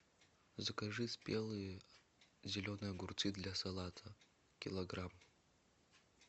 закажи спелые зеленые огурцы для салата килограмм